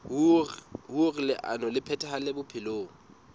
hoer leano le phethahale bophelong